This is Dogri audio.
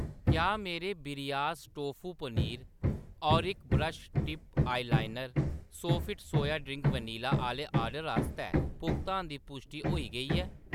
क्या मेरे ब्रियास टोफू पनीर, ओरिक brush tip eyeliner Sofit soya पेय वनीला आह्‌‌‌ले ऑर्डर आस्तै भुगतान दी पुश्टि होई गेई ऐ ?